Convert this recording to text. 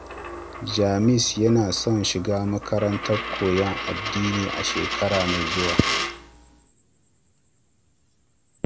James yana son shiga makarantar koyon addini a shekara mai zuwa.